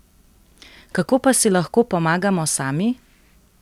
Kako pa si lahko pomagamo sami?